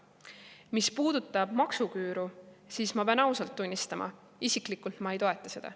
Mis puudutab maksuküüru, siis ma pean ausalt tunnistama: isiklikult ma ei toeta seda.